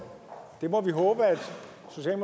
det må vi håbe